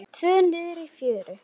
Tvö niðri í fjöru.